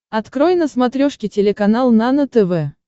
открой на смотрешке телеканал нано тв